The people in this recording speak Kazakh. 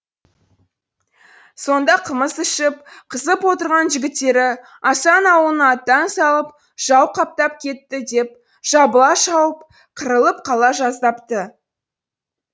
сонда қымыз ішіп қызып отырған жігіттері асан ауылының аттан салып жау қаптап кетті деп жабыла шауып қырылып қала жаздапты